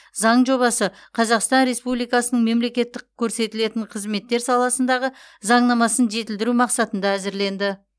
заң жобасы қазақстан республикасының мемлекеттік көрсетілетін қызметтер саласындағы заңнамасын жетілдіру мақсатында әзірленді